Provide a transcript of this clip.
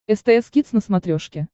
стс кидс на смотрешке